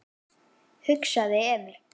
hugsaði Emil.